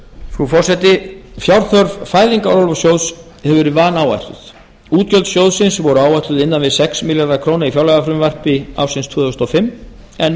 frú forseti fjárþörf fæðingarorlofssjóðs hefur verið vanáætluð útgjöld sjóðsins voru áætluð innan við sex komma núll milljarðar króna í fjárlagafrumvarpi tvö þúsund og fimm en minni